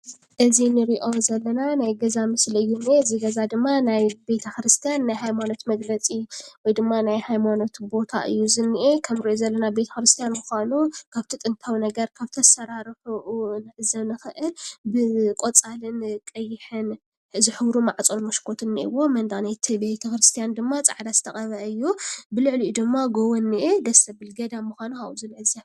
እዚ ንሪኦ ዘለና ናይ ገዛ ምስሊ እዩ እሞ እዚ ገዛ ድማ ቤተ ክርስቲያን ናይ ሃይማኖት መግለፂ ወይ ድማ ናይ ሃይማኖት ቦታ እዩ ዝኒአ፡፡ ከምንሪኦ ዘለና ቤተ ክርስቲያን ምዃኑ ካብቲ ጥንታዊ ነገር ካብቲ ኣሰራርሕኡ ክንዕዘብ ንኽእል፡፡ ብቆፃልን ቀይሕን ዝሕብሩ ማዕፆን መሽኮትን እኒኦዎ፡፡ መንደቕ ናይቲ ቤተ ክርስቲያን ድማ ፃዕዳ ተቐብአ እዩ፡፡ ልዕሊኡ ድማ ጎቦ እኒአ፡፡ ደስ ዘብል ገዳም ምዃኑ ካብኡ ንዕዘብ፡፡